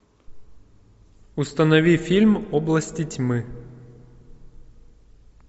установи фильм области тьмы